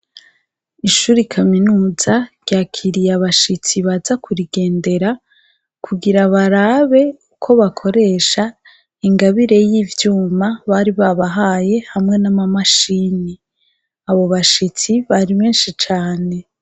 Ishuri kaminuza, ryakiriye abashitsi baza kurigendera, kugira barabe uko bakoresha ingabire y'ivyuma bari babahaye, hamwe n'amamashini, abo bashitsi bari benshi cane.